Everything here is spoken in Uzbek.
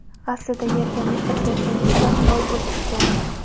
Aslida yerga mehr bergan inson boy bo‘lishi kerak.